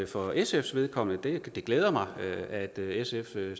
for sfs vedkommende at det glæder mig at at sf støtter